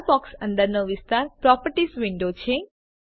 લાલ box અંદરનો વિસ્તાર properties window છે